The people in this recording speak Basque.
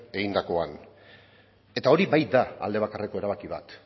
egindakoan eta hori bai da aldebakarreko erabaki bat